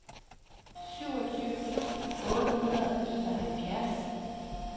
syvogtyve tusind otte hundrede og enoghalvfjerds